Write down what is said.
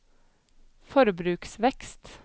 forbruksvekst